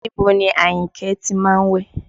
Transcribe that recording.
Níbo ni Àyìnkẹ́ ti má ń wẹ̀?